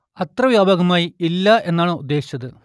അത്ര വ്യാപകമായി ഇല്ല എന്നാണ് ഉദ്ദേശിച്ചത്